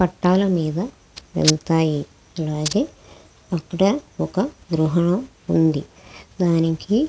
పట్టాల మీద వెళ్తాయి. అలాగే ఇక్కడ ఒక గృహ ఉంది. దానికి--